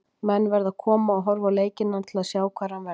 Menn verða að koma og horfa á leikina til að sjá hvar hann verður.